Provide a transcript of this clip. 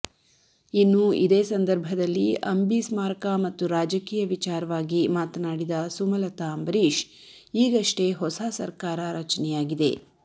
ಇನ್ನು ಇದೇ ಸಂಧರ್ಭದಲ್ಲಿ ಅಂಬಿ ಸ್ಮಾರಕ ಮತ್ತು ರಾಜಕೀಯ ವಿಚಾರವಾಗಿ ಮಾತನಾಡಿದ ಸುಮಲತಾ ಅಂಬರೀಶ್ ಈಗಷ್ಟೇ ಹೊಸ ಸರ್ಕಾರ ರಚೆನಯಾಗಿದೆ